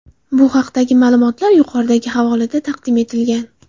Bu haqdagi ma’lumotlar yuqoridagi havolada taqdim etilgan.